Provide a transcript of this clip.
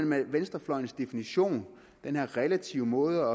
med venstrefløjens definition den her relative måde